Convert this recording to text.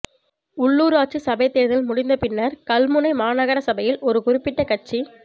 உள்ளுராட்சி சபைத் தேர்தல் முடிந்த பின்னர் கல்முனை மாநகரசபையில் ஒரு குறிப்பிட்ட கட்சி